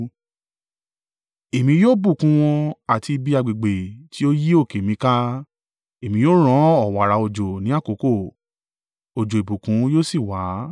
Èmi yóò bùkún wọn àti ibi agbègbè ti ó yí òkè mi ká. Èmi yóò rán ọ̀wààrà òjò ni àkókò; òjò ìbùkún yóò sì wà.